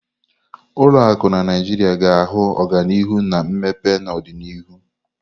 Ụlọ akụ na Naijiria ga-ahụ ọganihu na mmepe n'ọdịnihu.